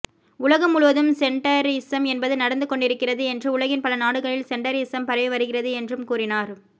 உலகம் முழுவதும் சென்டரிசம் என்பது நடந்து கொண்டிருக்கிறது என்றும் உலகின் பல நாடுகளில் சென்டரிசம் பரவி வருகிறது என்றும் கூறினார்